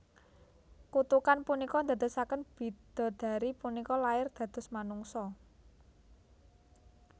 Kutukan punika ndadosaken bidodari punika lair dados manungsa